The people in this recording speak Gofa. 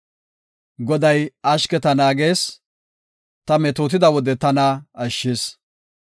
Goday ashketa naagees; ta metootida wode tana ashshis.